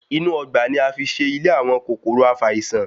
Inú Ọgbà ni a fi ṣe ìlé àwọn kòkòrò afàìsàn